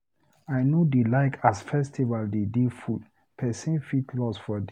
I no dey like as festival dey dey full, pesin fit loss for there.